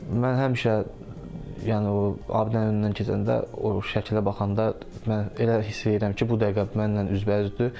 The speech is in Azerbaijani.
Mən həmişə, yəni o abidələrinin yanından keçəndə, o şəkilə baxanda, mən elə hiss edirəm ki, bu dəqiqə mənlə üzbəüzdür.